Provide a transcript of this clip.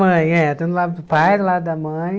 mãe, é. Tanto do lado do pai quanto da mãe.